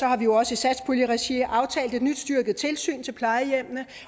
har vi jo også i satspuljeregi aftalt et nyt styrket tilsyn til plejehjemmene